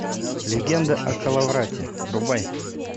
легенда о коловрате врубай